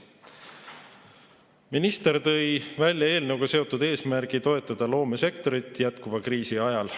Minister tõi välja eelnõuga seotud eesmärgi toetada loomesektorit jätkuva kriisi ajal.